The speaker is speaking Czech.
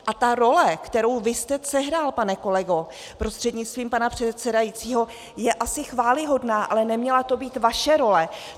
A ta role, kterou vy jste sehrál, pane kolego prostřednictvím pana předsedajícího, je asi chvályhodná, ale neměla to být vaše role.